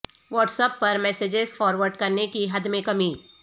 what's app پر messages forward کرنے کی حد میں کمی